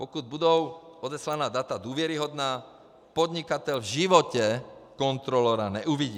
Pokud budou odeslaná data důvěryhodná, podnikatel v životě kontrolora neuvidí.